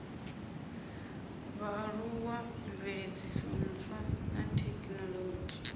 vhaaluwa mveledziso ntswa na thekinolodzhi